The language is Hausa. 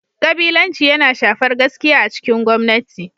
Kabilanci yana shafar gaskiya a cikin gwamnati.